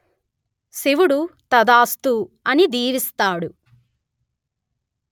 శివుడు తథాస్తు అని దీవిస్తాడు